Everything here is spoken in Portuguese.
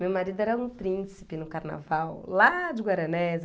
Meu marido era um príncipe no carnaval, lá de Guaranésia